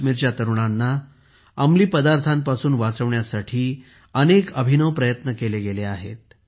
काश्मीरच्या तरुणांना अंमली पदार्थांपासून वाचवण्यासाठी अनेक अभिनव प्रयत्न केले गेले आहेत